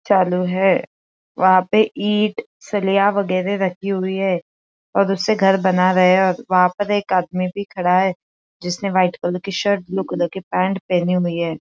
चालु हैं वंहा पे ईट सलिया वगैरे रखी हुइ है और उससे घर बना रहे है और वंहा पर एक आदमी भी खड़ा है जिसने व्हाइट कलर की शर्ट ब्लू कलर की पैंट पहनी हुइ है।